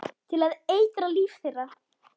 Til að eitra líf þeirra.